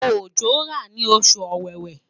ojo ra ni osu Ọwẹ́wẹ̀